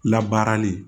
Labaarali